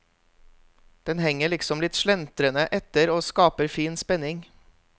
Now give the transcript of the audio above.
Den henger liksom litt slentrende etter og skaper fin spenning.